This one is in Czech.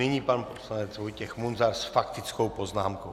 Nyní pan poslanec Vojtěch Munzar s faktickou poznámkou.